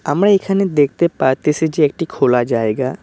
আমরা এখানে দেখতে পাইতেসি যে একটা খোলা জায়গা।